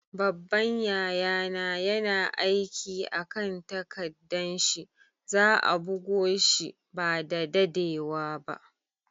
Babban yaya na yana aiki a'kan takaddan shi. Za'a bugo shi ba da daddewa ba.